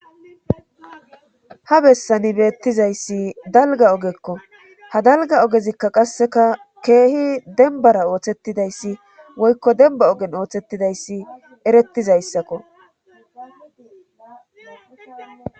ha bessani beettizayssi dalga ogekko ha dalga ogezikka qasseka keehi denbara ooththettidayssi woykko demba ogen ooththettidayssi erettizayssakko